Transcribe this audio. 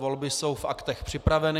Volby jsou v aktech připraveny.